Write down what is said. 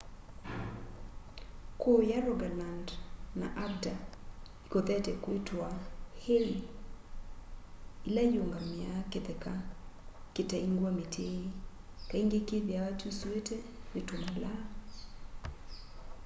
kuuya rogaland na agder ikothete kwitwa hei ila iungamiaa kitheka kitaingwa miti kaingi kithiawa kyusuitwe ni tumalaa